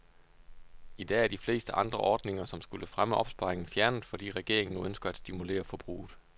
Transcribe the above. I dag er de fleste andre ordninger, som skulle fremme opsparingen, fjernet, fordi regeringen nu ønsker at stimulere forbruget.